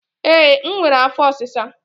Ee, enwere m afọ ọsisa